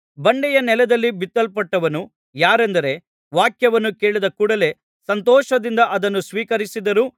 ಬಂಡೆಯ ನೆಲದಲ್ಲಿ ಬಿತ್ತಲ್ಪಟ್ಟವನು ಯಾರೆಂದರೆ ವಾಕ್ಯವನ್ನು ಕೇಳಿದ ಕೂಡಲೆ ಸಂತೋಷದಿಂದ ಅದನ್ನು ಸ್ವೀಕರಿಸಿದರೂ